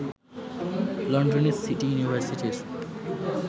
লন্ডনের সিটি ইউনিভার্সিটির